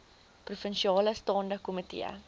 provinsiale staande komitee